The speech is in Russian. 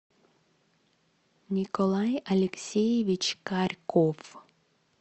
николай алексеевич карьков